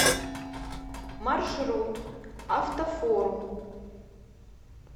маршрут автофорум